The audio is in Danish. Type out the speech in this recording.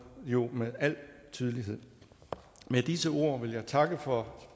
jo med al tydelighed med disse ord vil jeg takke for